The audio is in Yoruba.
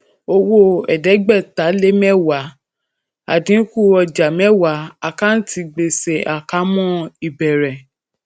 owó ẹẹdẹgbẹta lé mẹwàá lé mẹwàá àdínkù ọjà mẹwàá àkáǹtì gbèsè àkámọ ìbẹrẹ